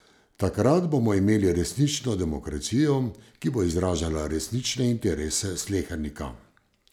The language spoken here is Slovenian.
Takrat bomo imeli resnično demokracijo, ki bo izražala resnične interese slehernika!